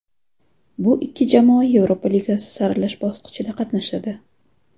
Bu ikki jamoa Yevropa Ligasi saralash bosqichida qatnashadi.